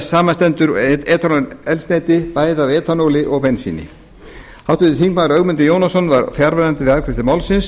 samanstendur etanól eldsneyti bæði af etanóli og bensíni háttvirtur þingmaður ögmundur jónasson var fjarverandi við afgreiðslu málsins